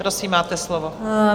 Prosím, máte slovo.